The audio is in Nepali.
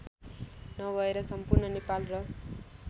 नभएर सम्पूर्ण नेपाल र